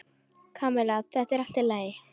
Kamilla, þetta er allt í lagi.